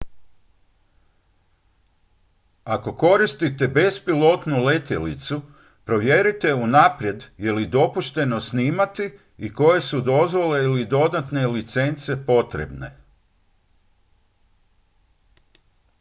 ako koristite bespilotnu letjelicu provjerite unaprijed je li dopušteno snimati i koje su dozvole ili dodatne licence potrebne